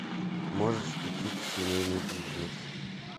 можешь включить семейный бизнес